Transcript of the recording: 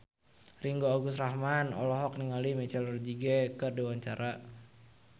Ringgo Agus Rahman olohok ningali Michelle Rodriguez keur diwawancara